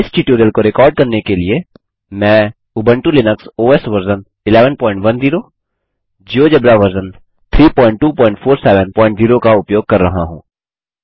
इस ट्यूटोरियल को रिकार्ड करने के लिए मैं Ubuntu Linux OS version 1110 GeoGebra version 32470 का उपयोग कर रहा हूँ